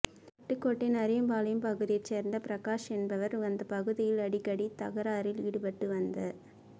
பட்டுக்கோட்டை நரியம்பாளையம் பகுதியைச் சேர்ந்த பிரகாஷ் என்பவர் அந்தப் பகுதியில் அடிக்கடி தகராறில் ஈடுபட்டு வந்த